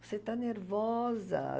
Você está nervosa.